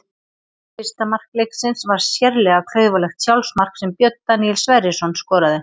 Fyrsta mark leiksins var sérlega klaufalegt sjálfsmark sem Björn Daníel Sverrisson skoraði.